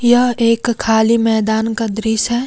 यह एक खाली मैदान का दृश्य हैं।